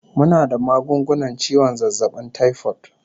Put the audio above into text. Muna da magungunan ciwon zazzabin taifot